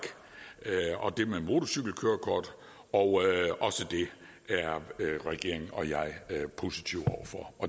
er og det med motorcykelkørekort og også det er regeringen og jeg positiv over for